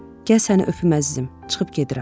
Gəl səni öpüm əzizim, çıxıb gedirəm.